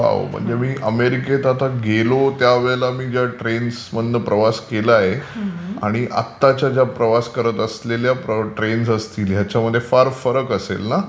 वा म्हणजे मी अमेरिकेत आता गेलो त्या वेळेला जेव्हा ट्रेन्समधून मी प्रवास केलाय आणि आताच्या ज्या प्रवास करत असलेल्या ज्या ट्रेन्स असतील त्याच्यामध्ये फार फरक असेल ना.